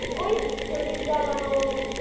ওই প্রদীপ জ্বালানো